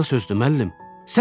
Buna sözdü, müəllim?